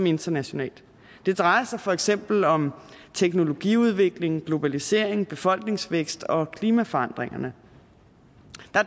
internationalt det drejer sig for eksempel om teknologiudvikling globalisering befolkningsvækst og klimaforandringer der